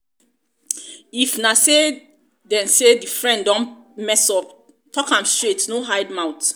if na sey di sey di friend don mess up talk am straight no hide mouth